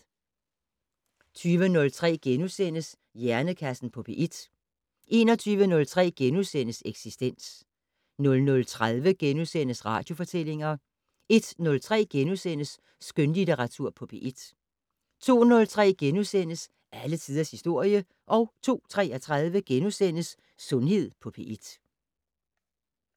20:03: Hjernekassen på P1 * 21:03: Eksistens * 00:30: Radiofortællinger * 01:03: Skønlitteratur på P1 * 02:03: Alle tiders historie * 02:33: Sundhed på P1 *